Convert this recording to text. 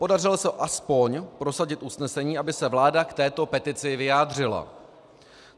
Podařilo se aspoň prosadit usnesení, aby se vláda k této petici vyjádřila.